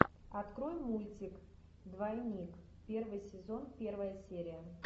открой мультик двойник первый сезон первая серия